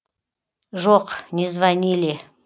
жоқ не звонили